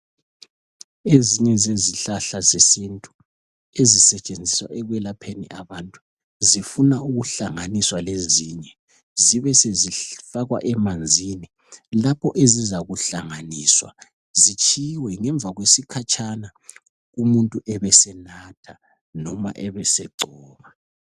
Ezinye zezihlahla zesintu ezisetshenziswa ekwelapheni abantu zifuna ukuhlanganiswa lezinye zibe sezifakwa emanzini lapho ezizakuhlanganiswa zitshiwe ngemva kwesikhatshana umuntu ebe senatha noma ebe segcoba.